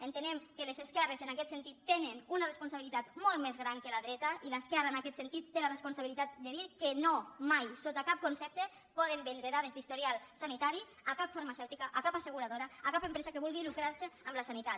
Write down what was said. entenem que les esquerres en aquest sentit tenen una responsabilitat molt més gran que la dreta i l’esquerra en aquest sentit té la responsabilitat de dir que no mai sota cap concepte poden vendre dades d’historial sanitari a cap farmacèutica a cap asseguradora a cap empresa que vulgui lucrarse amb la sanitat